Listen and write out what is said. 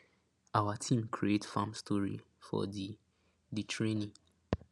awa team create farm story for di di training